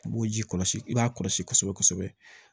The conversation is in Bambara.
I b'o ji kɔlɔsi i b'a kɔlɔsi kosɛbɛ kosɛbɛ